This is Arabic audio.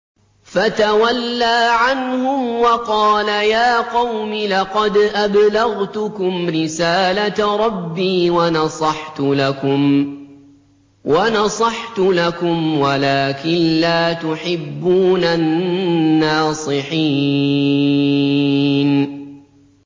فَتَوَلَّىٰ عَنْهُمْ وَقَالَ يَا قَوْمِ لَقَدْ أَبْلَغْتُكُمْ رِسَالَةَ رَبِّي وَنَصَحْتُ لَكُمْ وَلَٰكِن لَّا تُحِبُّونَ النَّاصِحِينَ